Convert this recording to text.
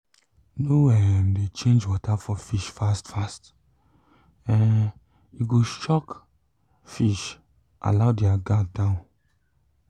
no um de change water for fish fast um fast um e go shock fish allow their guard down